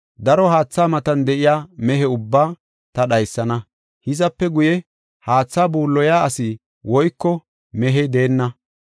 Daro haatha matan de7iya mehe ubbaa ta dhaysana; hizape guye, haatha buulloya asi woyko mehey deenna.